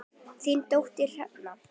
Þín dóttir, Hrefna.